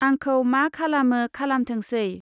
आंखौ मा खालामो खालामथोंसै!